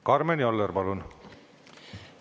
Karmen Joller, palun!